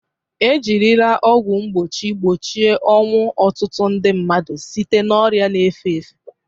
Ejirila ọgwụ mgbochi gbochie ọnwụ ọtụtụ nde mmadụ site na ọrịa na-efe efe.